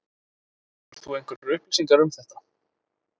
Hefur þú einhverjar upplýsingar um þetta?